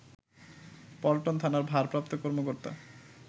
পল্টন থানার ভারপ্রাপ্ত কর্মকর্তা